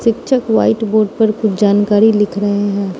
शिक्षक white board पर कुछ जानकारी लिख रहे हैं।